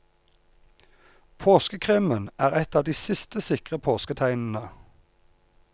Påskekrimmen er et av de siste sikre påsketegnene.